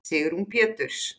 Sigrún Péturs.